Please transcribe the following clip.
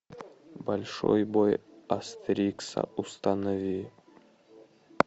большой бой астерикса установи